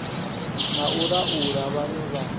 na u laula vhane vha